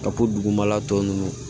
Ka bɔ dugumala tɔ ninnu